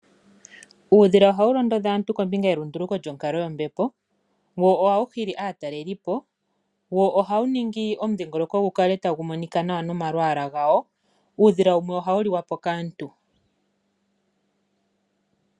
Uudhila ohawu londodha aantu kombinga yelunduluko lyonkalo yombepo wo ohawuhili atalelipo wo ohawuningi omudhingoloko ngukale tangumonika nawa nomalwala ngawo, uudhila wumwe ohawuliwapo kaantu.